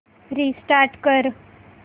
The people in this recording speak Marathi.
रिस्टार्ट कर